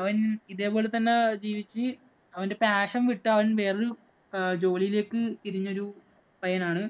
അവൻ ഇതേ പോലെ തന്നെ ജീവിച്ചു. അവന്‍റെ passion വിട്ട് അവൻ വേറെ ഒരു ജോലിയിലേക്ക് തിരിഞ്ഞൊരു പയ്യനാണ്.